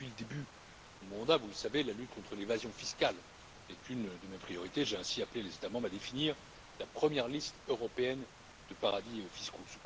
Depuis le début de mon mandat, vous le savez, la lutte contre l'évasion fiscale est une de mes priorités, j'ai ainsi appelé les États membres à définir la première liste européenne de paradis fiscaux.